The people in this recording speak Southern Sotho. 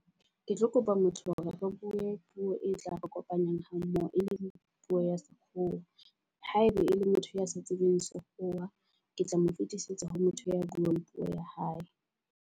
Ke tlo kopa motho hore re bue puo e tla re kopanyang ha mmoho e leng puo ya sekgowa. Ha eba e le motho ya sa tsebeng puo ya sekgowa, ke tla mo fetisetsa ho motho ya buang puo ya hae.